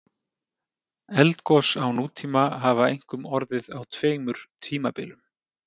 Eldgos á nútíma hafa einkum orðið á tveimur tímabilum.